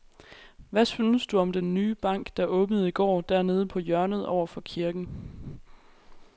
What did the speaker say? Hvad synes du om den nye bank, der åbnede i går dernede på hjørnet over for kirken?